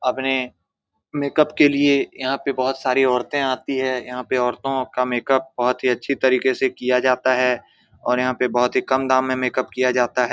अपने मेकअप के लिए यहां पे बहुत सारी औरते आती है यहाँ पे औरतो का मेकअप बहुत ही अच्छी तरीके से किया जाता है और यहाँ पर बहुत ही कम दाम में मेकअप किया जाता है।